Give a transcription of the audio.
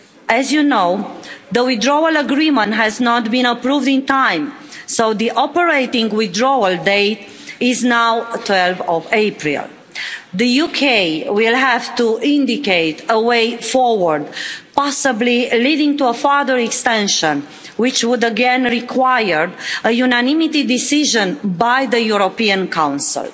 As you know, the withdrawal agreement has not been approved in time so the operating withdrawal date is now 12 April. The UK will have to indicate a way forward, possibly leading to a further extension, which would again required a unanimity decision by the European Council.